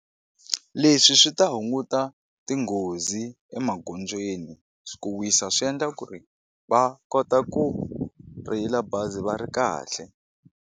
Leswi swi ta hunguta tinghozi emagondzweni ku wisa swi endla ku ri va kota ku rheyila bazi va ri kahle.